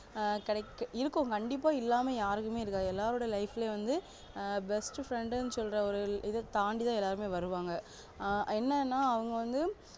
ஆஹ் correct இருக்கு கண்டிப்பா இல்லாம யாருக்குமே இருக்காது எல்லாருடைய life ளையும் வந்து ஆஹ் best friend னு சொல்ரவர்கள் இத தாண்டிதா எல்லாருமே வருவாங்க ஆஹ் என்னனா அவங்க வந்து